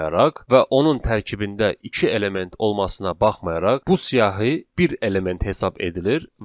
və onun tərkibində iki element olmasına baxmayaraq, bu siyahı bir element hesab edilir